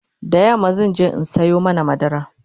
da yamma zanje in Sayo mana madara